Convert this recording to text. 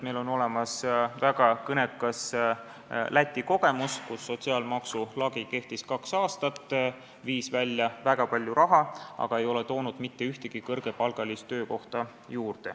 Meil on olemas väga kõnekas Läti kogemus, kus sotsiaalmaksu lagi kehtis kaks aastat ja viis välja väga palju raha, aga ei toonud juurde mitte ühtegi kõrgepalgalist töökohta.